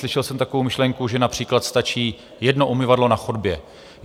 Slyšel jsem takovou myšlenku, že například stačí jedno umyvadlo na chodbě.